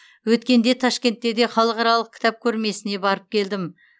өткенде ташкентте де халықаралық кітап көрмесіне барып келдім